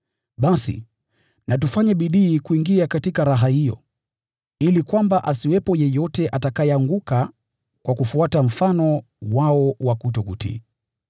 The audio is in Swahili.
Basi, na tufanye bidii kuingia katika raha hiyo, ili kwamba asiwepo yeyote atakayeanguka kwa kufuata mfano wao wa kutokutii.